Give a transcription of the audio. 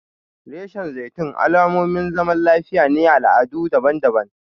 Reshen zaitun alamomin zaman lafiya ne a al'adu daban-daban.